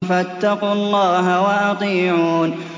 فَاتَّقُوا اللَّهَ وَأَطِيعُونِ